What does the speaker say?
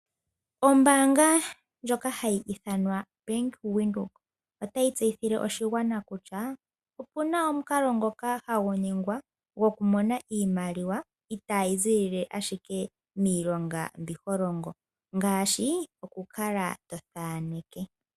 ombanga ndjoka hayi iithanwa Bank Windhoek otayi tseyithile oshigwana kutya opuna omukalo ngoka hagu ningwa, goku mona iimaliwa, itayi zilila ashike miilonga mbi holongo ngashi oku kala to thaneke.